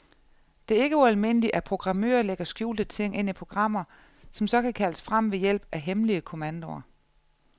Det er ikke ualmindeligt, at programmører lægger skjulte ting ind i programmer, som så kan kaldes frem ved hjælp af hemmelige kommandoer.